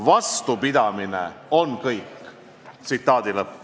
Vastupidamine on kõik.